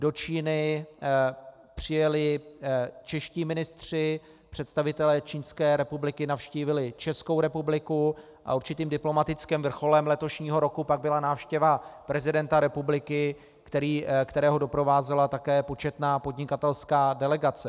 Do Číny přijeli čeští ministři, představitelé Čínské republiky navštívili Českou republiku a určitým diplomatickým vrcholem letošního roku pak byla návštěva prezidenta republiky, kterého doprovázela také početná podnikatelská delegace.